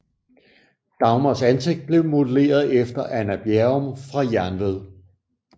Dagmars ansigt blev modelleret efter Anna Bjerrum fra Jernved